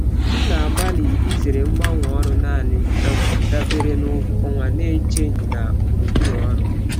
M na-agbalị izere mgbanwe ọrụ naanị um dabere na ụgwọ ọnwa na-echeghị na gburugburu ọrụ.